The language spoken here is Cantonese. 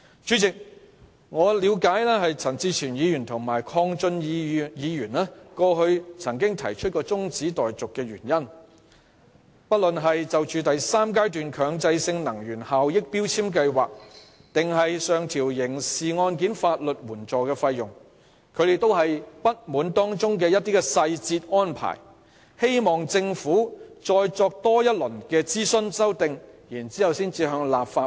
陳志全議員及鄺俊宇議員先前分別提出中止待續議案，針對強制性能源效益標籤計劃第三階段及上調刑事案件法律援助費用的部分細節安排，希望政府再作諮詢及修訂才將有關附屬法例提交立法會。